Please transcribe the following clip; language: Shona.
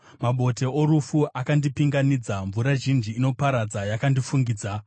Mabote orufu akandipinganidza; mvura zhinji inoparadza yakandifukidza.